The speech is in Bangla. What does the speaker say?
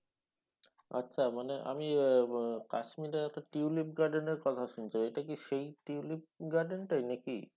আচ্ছা মানে আমি আহ উম কাশ্মিরের একটা টিউলিপ garden এরকথা শুনেছি এইটা কি সেই টিউলিপ garden টাই নাকি?